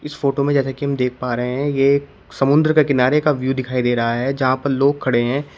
इस फोटो में जैसा कि हम देख पा रहे हैं ये समुद्र का किनारे का व्यू दिखाई दे रहा है यहां पर लोग खड़े हैं।